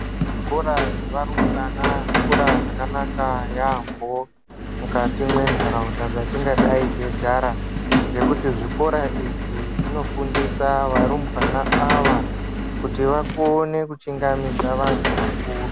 Zvikora zvevarumbwana zvikora zvakanaka yaambo mukati mwentaraunda dzatingadai teigara, ngekuti zvikora izvi zvinofundisa varumbwana ava kuti vakone kuchingamidza vantu vakuru.